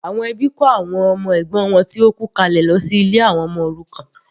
Àwọn ẹbí kọ àwọn ọmọ ẹ̀gbọ́n wọn tó kú kalẹ̀ sí ilé àwọn ọmọ òrukàn.